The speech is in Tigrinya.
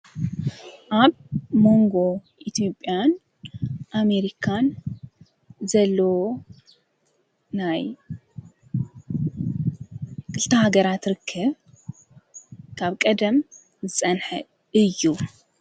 ኣብ መንጎ ኢትጵያን ኣሜሪካን ዘሎ ናይ ክልተሃገራት ርክብ ካብ ቀደም ጸንሐ እዩ።